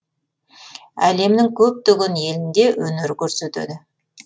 әлемнің көптеген елінде өнер көрсетеді